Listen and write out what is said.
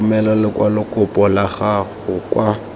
romela lekwalokopo la gago kwa